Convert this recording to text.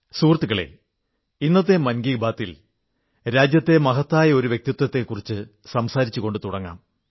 സുഹൃത്തുക്കളേ ഇന്നത്തെ മൻ കീ ബാത് ൽ രാജ്യത്തെ ഒരു മഹനീയയായ വ്യക്തിയെക്കുറിച്ച് സംസാരിച്ചു തുടങ്ങാം